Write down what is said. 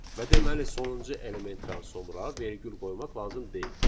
Və deməli sonuncu elementdən sonra vergül qoymaq lazım deyil.